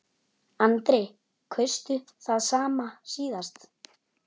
Andri: Kaustu það sama síðast?